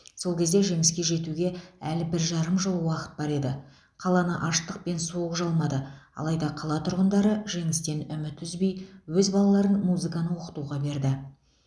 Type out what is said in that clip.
сол кезде жеңіске жетуге әлі бір жарым жыл уақыт бар еді қаланы аштық пен суық жалмады алайда қала тұрғындары жеңістен үміт үзбей өз балаларын музыканы оқытуға берді